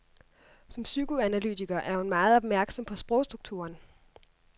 Som psykoanalytiker er hun meget opmærksom på sprogstrukturen.